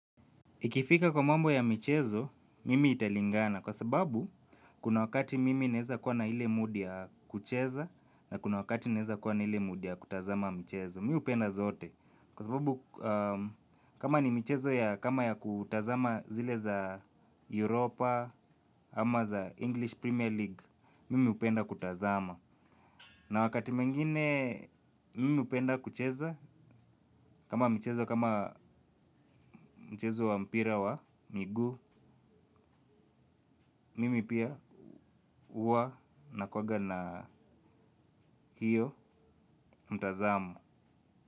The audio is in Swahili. Ikifika kwa mambo ya michezo, mimi italingana kwa sababu kuna wakati mimi naweza kuwa na ile mood ya kucheza na kuna wakati naweza kuwa na ile mood ya kutazama michezo. Mi hupenda zote kwa sababu kama ni michezo ya kama ya kutazama zile za Europa ama za English Premier League, mimi hupenda kutazama. Na wakati mwingine mimi hupenda kucheza, kama mchezo wa mpira wa miguu, mimi pia huwa na kuwaga na hiyo mtazamo.